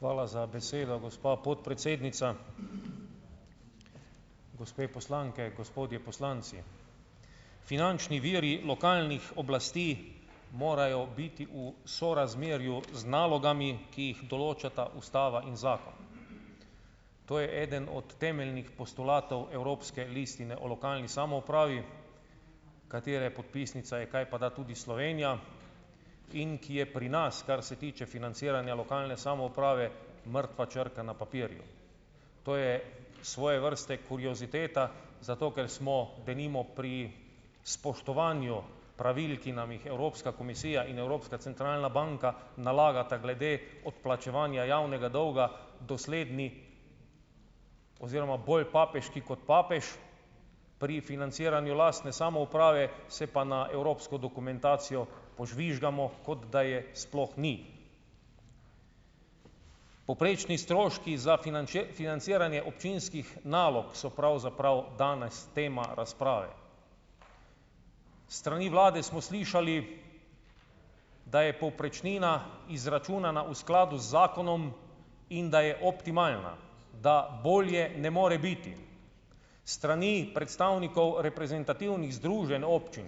Hvala za besedo, gospa podpredsednica. Gospe poslanke, gospodje poslanci. Finančni viri lokalnih oblasti morajo biti v sorazmerju z nalogami, ki jih določata Ustava in zakon. To je eden od temeljnih postulatov evropske listine o lokalni samoupravi, katere podpisnica je kajpada tudi Slovenija in ki je pri nas, kar se tiče financiranja lokalne samouprave, mrtva črka na papirju. To je svoje vrste kurioziteta, zato ker smo, denimo, pri spoštovanju pravil, ki nam jih Evropska komisija in Evropska centralna banka nalagata glede odplačevanja javnega dolga, dosledni oziroma bolj papeški kot papež, pri financiranju lastne samouprave se pa na evropsko dokumentacijo požvižgamo, kot da je sploh ni. Povprečni stroški za financiranje občinskih nalog so pravzaprav danes tema razprave. S strani vlade smo slišali, da je povprečnina izračunana v skladu z zakonom in da je optimalna, da bolje ne more biti. S strani predstavnikov reprezentativnih združenj občin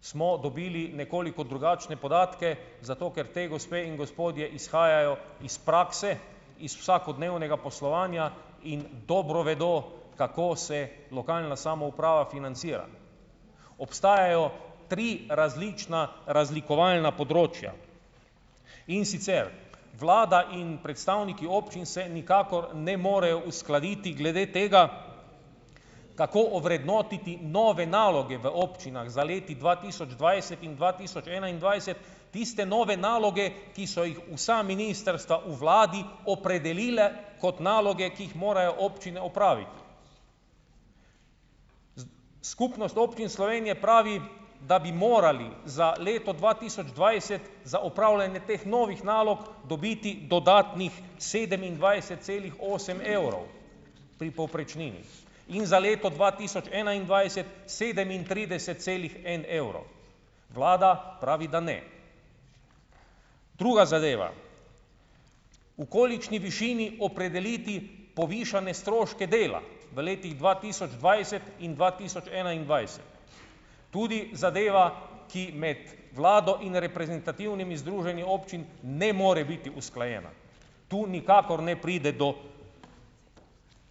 smo dobili nekoliko drugačne podatke, zato ker te gospe in gospodje izhajajo iz prakse, iz vsakodnevnega poslovanja, in dobro vedo, kako se lokalna samouprava financira. Obstajajo tri različna razlikovalna področja, in sicer, vlada in predstavniki občin se nikakor ne morejo uskladiti glede tega, kako ovrednotiti nove naloge v občinah za leti dva tisoč dvajset in dva tisoč enaindvajset, tiste nove naloge, ki so jih vsa ministrstva v vladi opredelila kot naloge, ki jih morajo občine opraviti. Skupnost občin Slovenije pravi, da bi morali za leto dva tisoč dvajset za opravljanje teh novih nalog dobiti dodatnih sedemindvajset celih osem evrov pri povprečnini in za leto dva tisoč enaindvajset sedemintrideset celih en evro. Vlada pravi, da ne. Druga zadeva - v kolikšni višini opredeliti povišane stroške dela v letih dva tisoč dvajset in dva tisoč enaindvajset? Tudi zadeva, ki med vlado in reprezentativnimi združenji občin ne more biti usklajena. Tu nikakor ne pride do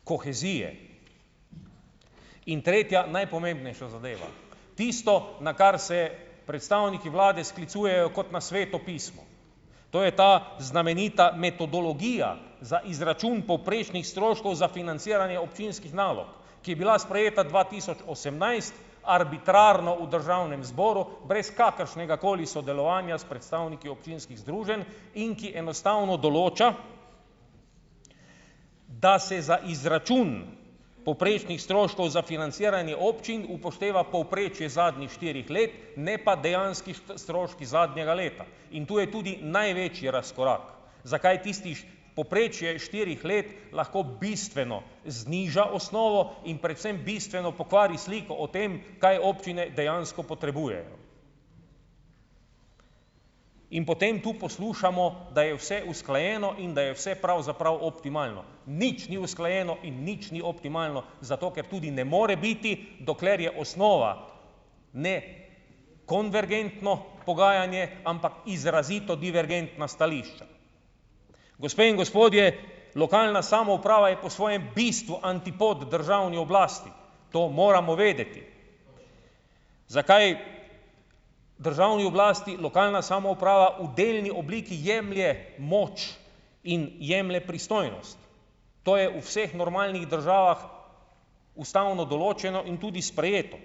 kohezije. In tretja, najpomembnejša zadeva - tisto, na kar se predstavniki vlade sklicujejo kot na Sveto pismo, to je ta znamenita metodologija za izračun povprečnih stroškov za financiranje občinskih nalog, ki je bila sprejeta dva tisoč osemnajst, arbitrarno v Državnem zboru, brez kakršnegakoli sodelovanja s predstavniki občinskih združenj, in ki enostavno določa, da se za izračun povprečnih stroškov za financiranje občin upošteva povprečje zadnjih štirih let, ne pa dejanski stroški zadnjega leta, in tu je tudi največji razkorak, zakaj tisti povprečje štirih let lahko bistveno zniža osnovo in predvsem bistveno pokvari sliko o tem, kaj občine dejansko potrebujejo. In potem tu poslušamo, da je vse usklajeno in da je vse pravzaprav optimalno. Nič ni usklajeno in nič ni optimalno, zato ker tudi ne more biti, dokler je osnova ne konvergentno pogajanje, ampak izrazito divergentna stališča. Gospe in gospodje, lokalna samouprava je po svojem bistvu antipod državni oblasti. To moramo vedeti. Zakaj državni oblasti lokalna samouprava v delni obliki jemlje moč in jemlje pristojnost? To je v vseh normalnih državah ustavno določeno in tudi sprejeto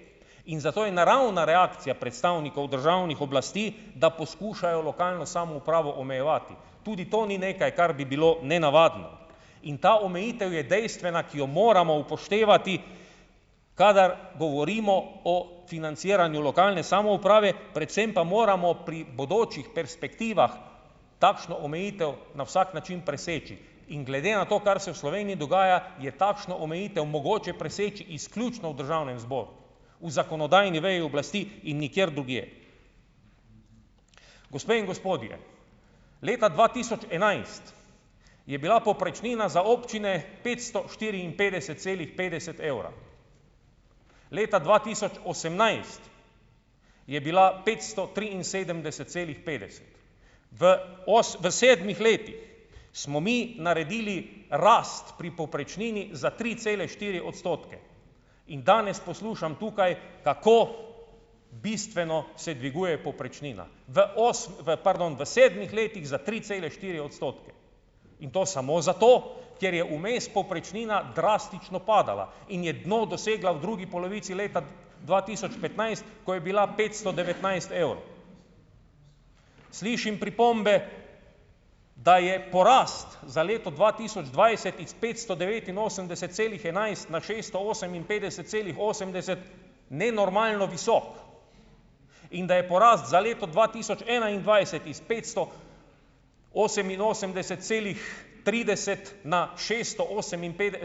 in zato je naravna reakcija predstavnikov državnih oblasti, da poskušajo lokalno samoupravo omejevati. Tudi to ni nekaj, kar bi bilo nenavadno, in ta omejitev je dejstvena, ki jo moramo upoštevati, kadar govorimo o financiranju lokalne samouprave, predvsem pa moramo pri bodočih perspektivah takšno omejitev na vsak način preseči. In glede na to, kar se v Sloveniji dogaja, je takšno omejitev mogoče preseči izključno v Državnem zboru, v zakonodajni veji oblasti in nikjer drugje. Gospe in gospodje! Leta dva tisoč enajst je bila povprečnina za občine petsto štiriinpetdeset celih petdeset evra. Leta dva tisoč osemnajst je bila petsto triinsedemdeset celih petdeset. V v sedmih letih smo mi naredili rast pri povprečnini za tri cele štiri odstotke in danes poslušam tukaj, kako bistveno se dviguje povprečnina, v v pardon, v sedmih letih za tri cele štiri odstotke in to samo zato, ker je vmes povprečnina drastično padala in je dno dosegla v drugi polovici leta dva tisoč petnajst, ko je bila petsto devetnajst evrov. Slišim pripombe, da je porast za leto dva tisoč dvajset iz petsto devetinosemdeset celih enajst na šeststo oseminpetdeset celih osemdeset nenormalno visok. In da je porast za leto dva tisoč enaindvajset iz petsto oseminosemdeset celih trideset na šesto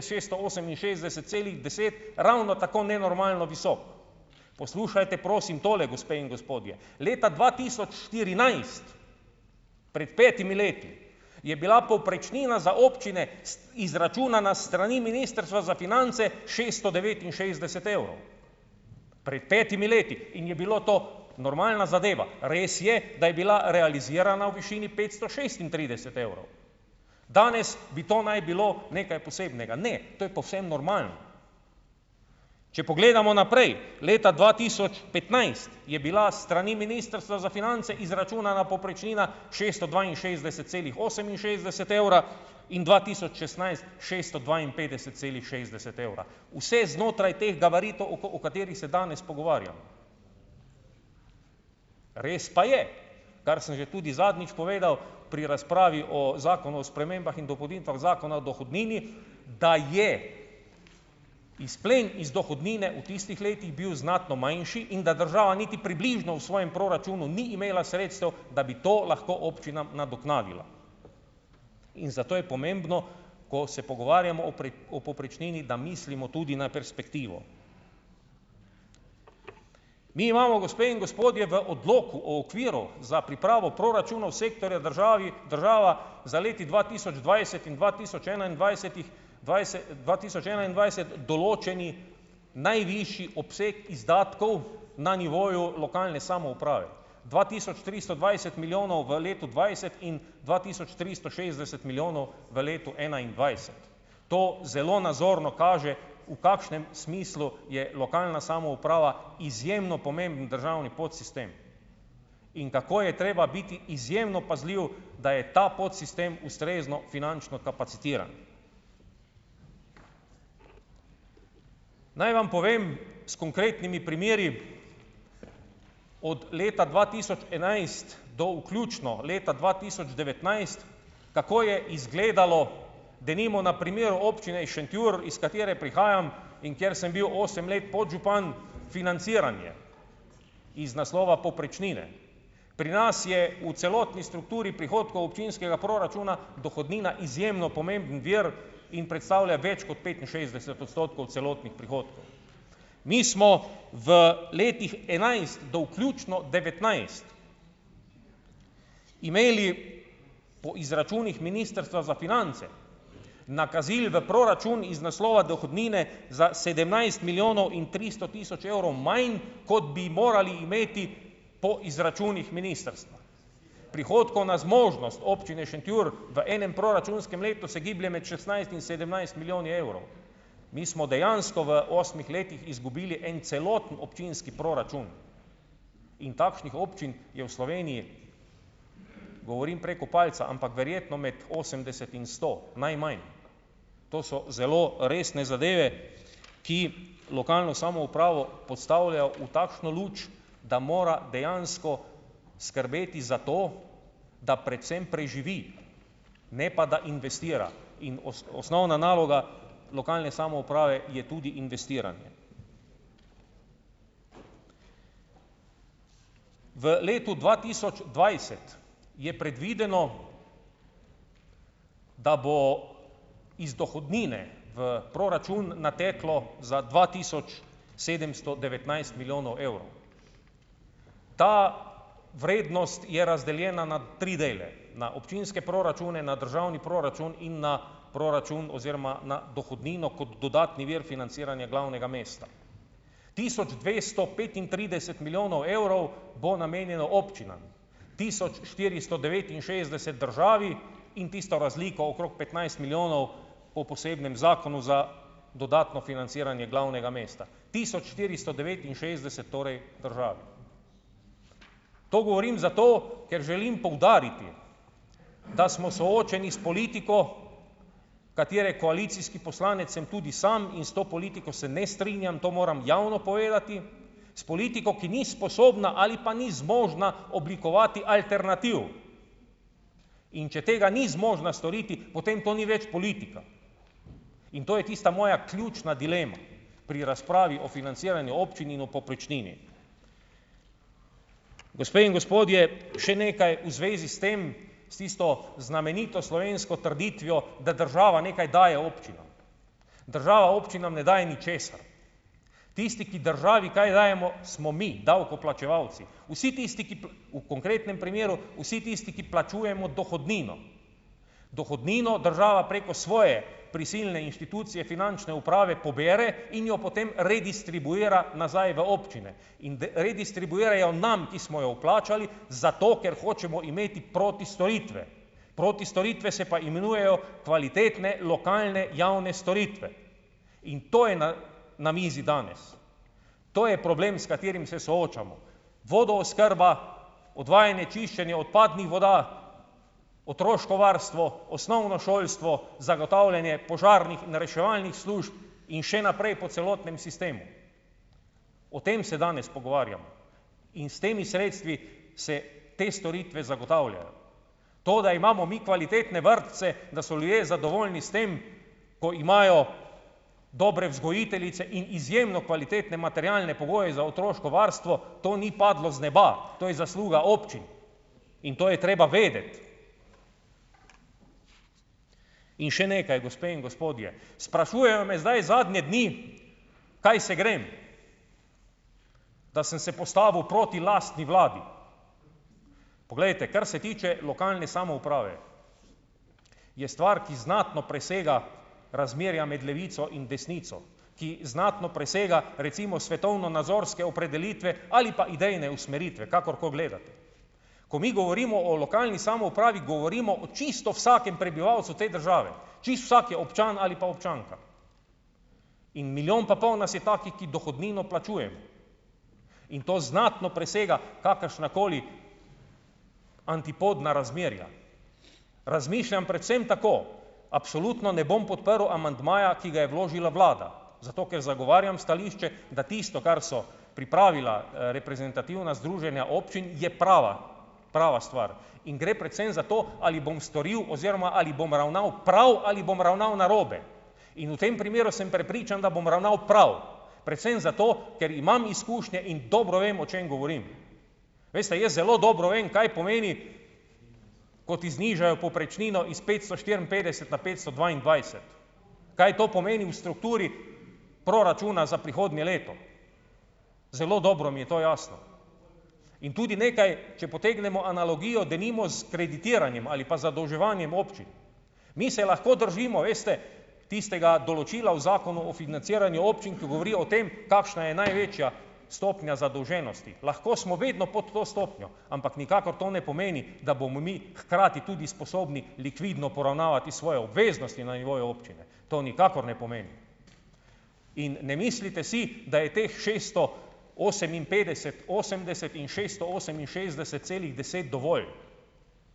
šesto oseminšestdeset celih deset ravno tako nenormalno visok. Poslušajte, prosim, tole, gospe in gospodje. Leta dva tisoč štirinajst, pred petimi leti, je bila povprečnina za občine, izračunana s strani Ministrstva za finance, šeststo devetinšestdeset evrov. Pred petimi leti in je bilo to normalna zadeva. Res je, da je bila realizirana v višini petsto šestintrideset evrov. Danes bi to naj bilo nekaj posebnega. Ne. To je povsem normalno. Če pogledamo naprej, leta dva tisoč petnajst je bila s strani Ministrstva za finance izračunana povprečnina šeststo dvainšestdeset celih oseminšestdeset evra in dva tisoč šestnajst - šeststo dvainpetdeset celih šestdeset evra. Vse znotraj teh gabaritov, o o katerih se danes pogovarjamo. Res pa je, kar sem že tudi zadnjič povedal, pri razpravi o zakonu o spremembah in dopolnitvah Zakona o dohodnini, da je izplen iz dohodnine v tistih letih bil znatno manjši in da država niti približno v svojem proračunu ni imela sredstev, da bi to lahko občinam nadoknadila. In zato je pomembno, ko se pogovarjamo o o povprečnini, da mislimo tudi na perspektivo. Mi imamo, gospe in gospodje, v odloku o okviru za pripravo proračunov sektorja državi država za leti dva tisoč dvajset in dva tisoč enaindvajsetih dva tisoč enaindvajset določeni najvišji obseg izdatkov na nivoju lokalne samouprave. Dva tisoč tristo dvajset milijonov v letu dvajset in dva tisoč tristo šestdeset milijonov v letu enaindvajset. To zelo nazorno kaže, v kakšnem smislu je lokalna samouprava izjemno pomemben državni podsistem in kako je treba biti izjemno pazljiv, da je ta podsistem ustrezno finančno kapacitiran. Naj vam povem s konkretnimi primeri, od leta dva tisoč enajst do vključno leta dva tisoč devetnajst, kako je izgledalo denimo na primeru občine Šentjur, iz katere prihajam in kjer sem bil osem let podžupan, financiranje iz naslova povprečnine. Pri nas je v celotni strukturi prihodkov občinskega proračuna dohodnina izjemno pomembno vir in predstavlja več kot petinšestdeset odstotkov celotnih prihodkov. Mi smo v letih enajst do vključno devetnajst imeli po izračunih Ministrstva za finance nakazil v proračun iz naslova dohodnine za sedemnajst milijonov in tristo tisoč evrov manj, kot bi morali imeti po izračunih ministrstva. Prihodkovna zmožnost občine Šentjur v enem proračunskem letu se giblje med šestnajst in sedemnajst milijoni evrov. Mi smo dejansko v osmih letih izgubili en celoten občinski proračun. In takšnih občin je v Sloveniji, govorim preko palca, ampak verjetno med osemdeset in sto. Najmanj. To so zelo resne zadeve, ki lokalno samoupravo postavljajo v takšno luč, da mora dejansko skrbeti za to, da predvsem preživi, ne pa da investira. In osnovna naloga lokalne samouprave je tudi investiranje. V letu dva tisoč dvajset je predvideno, da bo iz dohodnine v proračun nateklo za dva tisoč sedemsto devetnajst milijonov evrov. Ta vrednost je razdeljena na tri dele. Na občinske proračune, na državni proračun in na proračun oziroma na dohodnino kot dodatni vir financiranja glavnega mesta. Tisoč dvesto petintrideset milijonov evrov bo namenjeno občinam, tisoč štiristo devetinšestdeset državi in tisto razliko okrog petnajst milijonov po posebnem zakonu za dodatno financiranje glavnega mesta, tisoč štiristo devetinšestdeset torej državi. To govorim zato, ker želim poudariti, da smo soočeni s politiko, katere koalicijski poslanec sem tudi sam, in s to politiko se ne strinjam. To moram javno povedati. S politiko, ki ni sposobna ali pa ni zmožna oblikovati alternativ. In če tega ni zmožna storiti, potem to ni več politika. In to je tista moja ključna dilema pri razpravi o financiranju občin in o povprečnini. Gospe in gospodje, še nekaj v zvezi s tem, s tisto znamenito slovensko trditvijo, da država nekaj daje občinam. Država občinam ne daje ničesar. Tisti, ki državi kaj dajemo, smo mi, davkoplačevalci. Vsi tisti, ki v konkretnem primeru vsi tisti, ki plačujemo dohodnino, dohodnino država preko svoje prisilne inštitucije finančne uprave pobere in jo potem redistribuira nazaj v občine. In redistribuirajo nam, ki smo jo vplačali, zato ker hočemo imeti protistoritve. Protistoritve se pa imenujejo kvalitetne, lokalne javne storitve. In to je na na mizi danes. To je problem, s katerim se soočamo. Vodooskrba, odvajanje čiščenja odpadnih voda, otroško varstvo, osnovno šolstvo, zagotavljanje požarnih in reševalnih služb in še naprej po celotnem sistemu. O tem se danes pogovarjamo. In s temi sredstvi se te storitve zagotavljajo. To, da imamo mi kvalitetne vrtce, da so ljudje zadovoljni s tem, ko imajo dobre vzgojiteljice in izjemno kvalitetne materialne pogoje za otroško varstvo, to ni padlo z neba. To je zasluga občin. In to je treba vedeti. In še nekaj, gospe in gospodje. Sprašujejo me zdaj zadnje dni, kaj se grem. Da sem se postavil proti lastni vladi. Poglejte, kar se tiče lokalne samouprave, je stvar, ki znatno presega razmerja med levico in desnico, ki znatno presega recimo svetovnonazorske opredelitve ali pa idejne usmeritve. Kakorkoli gledate. Ko mi govorimo o lokalni samoupravi, govorimo o čisto vsakem prebivalcu te države. Čisto vsaki občan ali pa občanka. In milijon pa pol nas je takih, ki dohodnino plačujemo. In to znatno presega kakršnakoli antipodna razmerja. Razmišljam predvsem tako: absolutno ne bom podprl amandmaja, ki ga je vložila vlada. Zato ker zagovarjam stališče, da tisto, kar so pripravila reprezentativna združenja občin, je prava, prava stvar. In gre predvsem za to, ali bom storil oziroma ali bom ravnal prav ali bom ravnal narobe. In v tem primeru sem prepričan, da bom ravnal prav. Predvsem zato, ker imam izkušnje in dobro vem, o čem govorim. Veste, jaz zelo dobro vem, kaj pomeni, ko ti znižajo povprečnino iz petsto štiriinpetdeset na petsto dvaindvajset. Kaj to pomeni v strukturi proračuna za prihodnje leto? Zelo dobro mi je to jasno. In tudi nekaj, če potegnemo analogijo denimo s kreditiranjem ali pa zadolževanjem občin. Mi se lahko držimo, veste, tistega določila o zakonu o financiranju občin, ki govorijo o tem, kakšna je največja stopnja zadolženosti. Lahko smo vedno pod to stopnjo, ampak nikakor to ne pomeni, da bomo mi hkrati tudi sposobni likvidno poravnavati svoje obveznosti na nivoju občine. To nikakor ne pomeni. In ne mislite si, da je teh šeststo oseminpetdeset osemdeset in šeststo oseminšestdeset celih deset dovolj.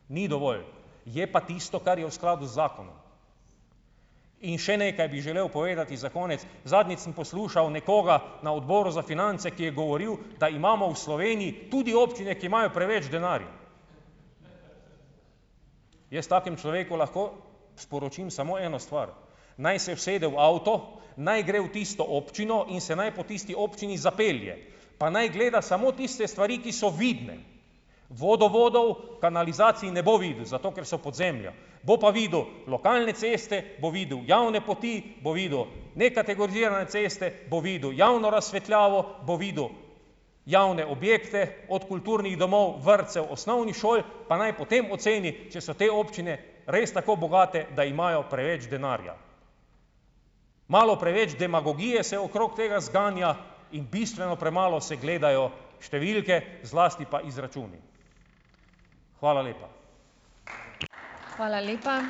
Ni dovolj. Je pa tisto, kar je v skladu z zakonom. In še nekaj bi želel povedati za konec. Zadnjič sem poslušal nekoga na Odboru za finance, ki je govoril, da imamo v Sloveniji tudi občine, ki imajo preveč denarja. Jaz takemu človeku lahko sporočim samo eno stvar: naj se usede v avto, naj gre v tisto občino in se naj po tisti občini zapelje, pa naj gleda samo tiste stvari, ki so vidne. Vodovodov, kanalizacij ne bo videl, zato ker so pod zemljo. Bo pa videl lokalne ceste, bo videl javne poti, bo videl nekategorizirane ceste, bo videl javno razsvetljavo, bo videl javne objekte od kulturnih domov, vrtcev, osnovnih šol, pa naj potem oceni, če so te občine res tako bogate, da imajo preveč denarja. Malo preveč demagogije se okrog tega zganja in bistveno premalo se gledajo številke, zlasti pa izračuni. Hvala lepa.